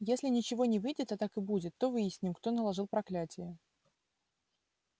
если ничего не выйдет а так и будет то выясним кто наложил проклятие